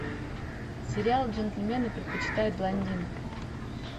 сериал джентельмены предпочитают блондинок